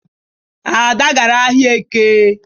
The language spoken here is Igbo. Ada gara ahịa Eke.